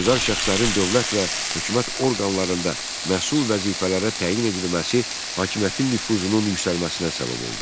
İşgüzar şəxslərin dövlət və hökumət orqanlarında məsul vəzifələrə təyin edilməsi hakimiyyətin nüfuzunun yüksəlməsinə səbəb oldu.